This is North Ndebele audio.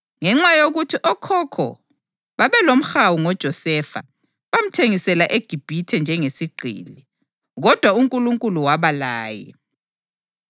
Ngenxa yokuthi okhokho babalomhawu ngoJosefa, bamthengisela eGibhithe njengesigqili. Kodwa uNkulunkulu waba laye